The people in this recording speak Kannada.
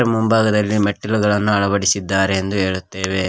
ಮುಂಭಾಗದಲ್ಲಿ ಮೆಟ್ಟಿಲುಗಳನ್ನು ಅಳವಡಿಸಿದ್ದಾರೆ ಎಂದು ಹೇಳುತ್ತೇವೆ.